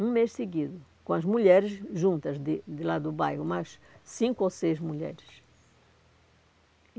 Um mês seguido, com as mulheres juntas de de lá do bairro, umas cinco ou seis mulheres.